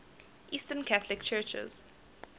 eastern catholic churches